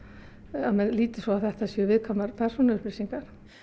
að menn líti svo á að þetta séu viðkvæmar upplýsingar